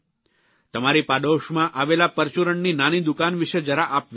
તમારી પાડોશમાં આવેલા પરચૂરણની નાની દુકાન વિશે જરા આપ વિચારો